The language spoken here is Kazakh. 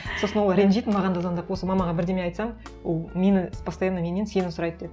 сосын ол ренжитін маған да звондап осы мамаға бірдеңе айтсаң ол мені постоянно меннен сені сұрайды деп